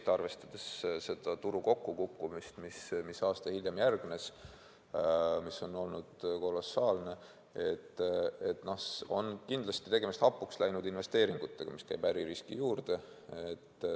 Aga arvestades turu kokkukukkumist, mis aasta hiljem järgnes ja mis on olnud kolossaalne, on kindlasti tegemist hapuks läinud investeeringutega, mis käib äririski juurde.